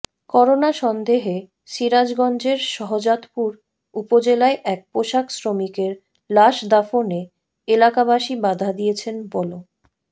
corona সন্দেহে সিরাজগঞ্জের শাহজাদপুর উপজেলায় এক পোশাক শ্রমিকের লাশ দাফনে এলাকাবাসী বাধা দিয়েছেন বল